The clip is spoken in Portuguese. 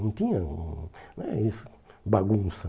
Não tinha eh isso, bagunça.